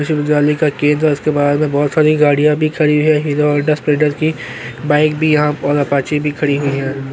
विश्व विद्यालय का उसके बहार में बहोत सारी गाड़ियां भी खड़ी हुई है हीरो हौंडा स्प्लेंडर की बाइक भी यहाँ और अपाचे भी खड़ी हुई है।